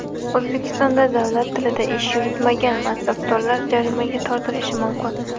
O‘zbekistonda davlat tilida ish yuritmagan mansabdorlar jarimaga tortilishi mumkin.